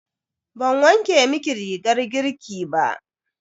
Ban wanke miki rigar girki ba.